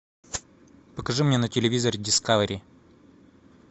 покажи мне на телевизоре дискавери